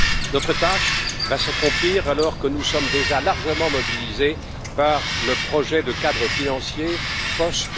Notre tâche va s'accomplir alors que nous sommes déjà largement mobilisés par le projet de cadre financier post